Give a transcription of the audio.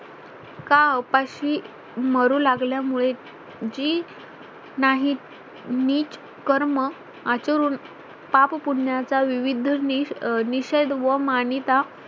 का उपाशी मरू लागल्यामुळे जी नाही नीच कर्म आसरून पाप पुण्याचा विविध निश निषेध व मान्यता